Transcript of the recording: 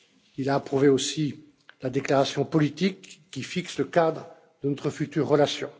Il a approuvé aussi la déclaration politique qui fixe le cadre de notre future relation.